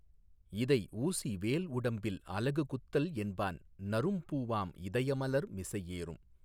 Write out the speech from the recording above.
இதைஊசி வேல்உடம்பில் அலகுகுத்தல் என்பான் நறும்பூவாம் இதயமலர் மிசையேறும்